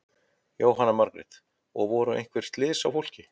Jóhanna Margrét: Og voru einhver slys á fólki?